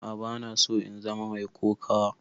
A'a bana so in zama mai kokawa.